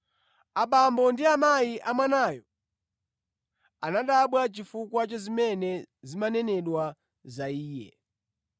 Abambo ndi amayi a Mwanayo anadabwa chifukwa cha zimene zinanenedwa za Iye.